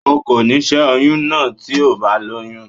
O kò ní ṣe oyún náà tí o bá lóyún.